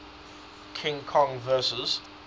king kong vs